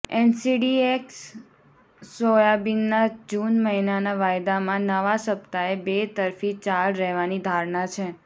NCDEX સોયાબીનના June મહિનાના વાયદામાં નવા સપ્તાહે બે તરફી ચાલ રહેવાની ધારણા છે